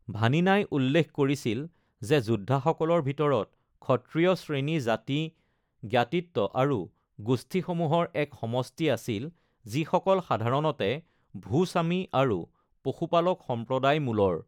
ভানিনাই উল্লেখ কৰিছিল যে যোদ্ধা সকলৰ ভিতৰত ক্ষত্ৰিয় শ্ৰেণী জাতি, জ্ঞাতিত্ব, আৰু গোষ্ঠীসমূহৰ এক সমষ্টি আছিল যিসকল সাধাৰণতে ভূ-স্বামী আৰু পশুপালক সম্প্ৰদায় মূলৰ।